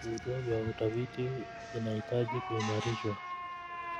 Vituo vya utafiti vinahitaji kuimarishwa.